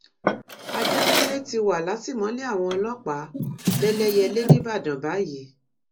adékúnlé ti wà látìmọ́lé àwọn ọlọ́pàá lẹ́lẹ́yẹlé níbàdàn báyìí